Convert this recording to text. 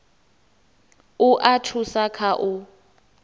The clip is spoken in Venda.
u a thusa kha u